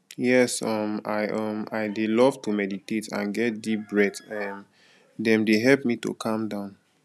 yes um i um i dey love to meditate and get deep breath um dem dey help me to calm down